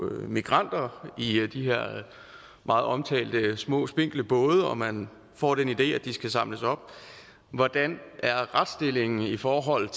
migranter i de her meget omtalte små spinkle både og man får den idé at de skal samles op hvordan er retsstillingen i forhold